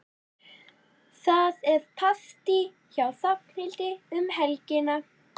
Það er partí hjá Hrafnhildi um helgina.